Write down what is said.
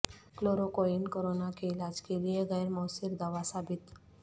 chloroquine corona کے علاج کے لیے غیر موثر دوا ثابت